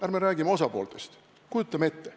Ärme räägime osapooltest, kujutame ette, et ...